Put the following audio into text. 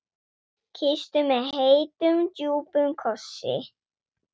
Kyssti mig heitum, djúpum kossi.